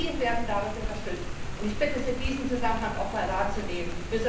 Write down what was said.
Aber die werden dadurch unterstützt. Ich bitte Sie, diesen Zusammenhang auch mal wahrzunehmen.